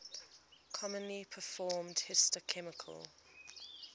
commonly performed histochemical